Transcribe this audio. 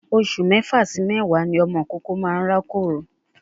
Oṣù mẹ́fà sí méwàá ni ọmọ ìkókó máa n rákòrò.